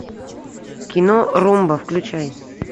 кино румба включай